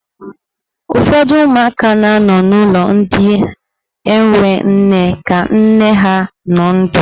Ụfọdụ ụmụaka na anọ n'ulọ ndị enwe nne ka nne ha nọ ndụ.